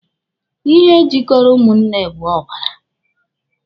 Ihe jikọrọ ụmụnne bụ ọbara